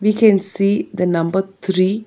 We can see the number three.